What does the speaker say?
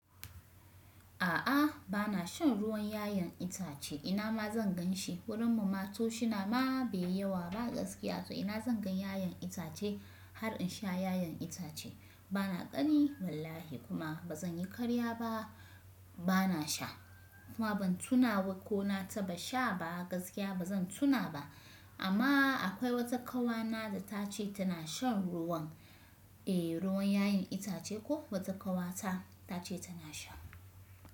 A'a bana shan ruwan 'ya'yan itace ina ma zan gan shi. Wurin mu ma to shi na ma bai yawa ba gaskiya. To ina zan gan 'ya'yan itace har in sha 'ya'yan itace? Bana kani wallahi kuma ba zan yi karya ba bana sha. Kuma ban tuna ko na taba sha ba gaskiya ba zan tuna ba. Amma akwai wata ƙawa na da ta ce tana shan ruwan, eh ruwan 'ya'yan itace ko wata ƙawa ta ta ce tana sha.